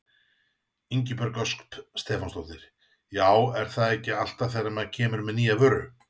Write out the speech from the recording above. Ingibjörg Ösp Stefánsdóttir: Já er það ekki alltaf þegar maður kemur með nýja vöru?